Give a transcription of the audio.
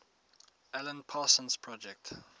alan parsons project